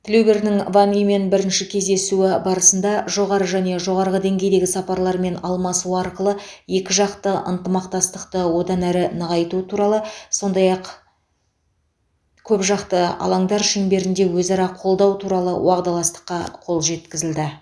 тілеубердінің ван имен бірінші кездесуі барысында жоғары және жоғарғы деңгейдегі сапарлармен алмасу арқылы екіжақты ынтымақтастықты одан әрі нығайту туралы сондай ақ көпжақты алаңдар шеңберінде өзара қолдау туралы уағдаластыққа қол жеткізілді